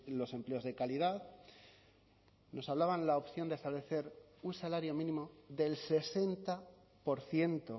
los empleos de calidad nos hablaban la opción de establecer un salario mínimo del sesenta por ciento